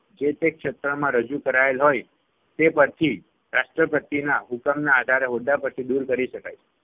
જે તે ક્ષેત્રમાં રજુ કરાયેલ હોય તે પરથી રાષ્ટ્રપતિના હુકમના આધારે હોદ્દા પરથી દૂર કરી શકાય છે.